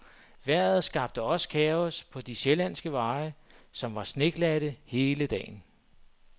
Vejret skabte også kaos på de sjællandske veje, som var sneglatte hele dagen.